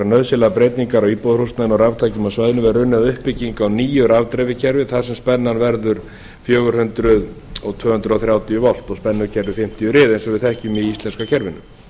nauðsynlegar breytingar á íbúðarhúsnæðinu en á raftækjum á svæðinu verður unnið að uppbyggingu á nýju rafdreifikerfi þar sem spennan verður fjögur hundruð og tvö hundruð þrjátíu volt og spennukerfið fimmtíu rið eins og við þekkjum í íslenska kerfinu